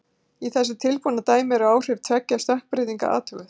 Í þessu tilbúna dæmi eru áhrif tveggja stökkbreytinga athuguð.